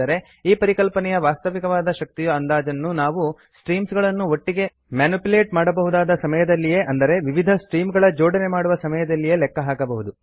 ಆದರೆ ಈ ಪರಿಕಲ್ಪನೆಯ ವಾಸ್ತವಿಕವಾದ ಶಕ್ತಿಯ ಅಂದಾಜನ್ನು ನಾವು ಸ್ಟ್ರೀಮ್ ಗಳನ್ನು ಒಟ್ಟಿಗೆ ಮಾನ್ಯುಪ್ಯುಲೆಟ್ ಮಾಡಬಹುದಾದ ಸಮಯದಲ್ಲ್ಲಿಯೇ ಅಂದರೆ ವಿವಿಧ ಸ್ಟ್ರೀಮ್ಸ್ ಗಳ ಜೋಡಣೆ ಮಾಡುವ ಸಮಯದಲ್ಲೇ ಲೆಕ್ಕ ಹಾಕಬಹುದು